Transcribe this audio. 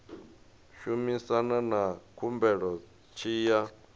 shumana na khumbelo tshi ya